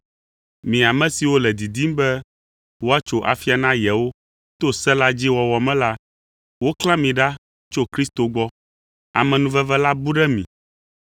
Mi ame siwo le didim be woatso afia na yewo to se la dzi wɔwɔ me la, woklã mi ɖa tso Kristo gbɔ; amenuveve la bu ɖe mi.